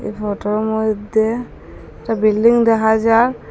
এই ফটোর মইধ্যে একটা বিল্ডিং দেখা যা--